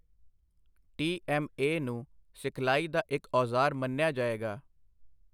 TMA. ਨੂੰ ਸਿਖਲਾਈ ਦਾ ਇੱਕ ਔਜ਼ਾਰ ਮੰਨਿਆ ਜਾਏਗਾ।